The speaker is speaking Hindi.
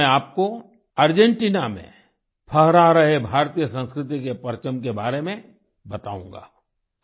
आज मैं आपको अर्जेंटिना में फहरा रहे भारतीय संस्कृति के परचम के बारे में बताऊंगा